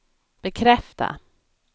bekräfta